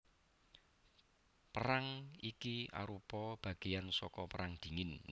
Perang iki arupa bagéan saka Perang Dingin